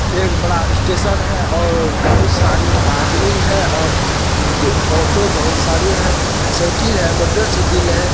एक बड़ा स्टेशन है और बहुत सारी आदमी है और ड-ऑटो बहुत सारी है | साइकिल है मोटरसाइकिल है।